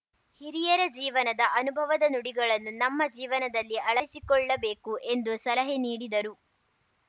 ಹಿರಿಯರ ಜೀವನದ ಅನುಭವದ ನುಡಿಗಳನ್ನು ನಮ್ಮ ಜೀವನದಲ್ಲಿ ಅಳಡಿಸಿಕೊಳ್ಳಬೇಕು ಎಂದು ಸಲಹೆ ನೀಡಿದರು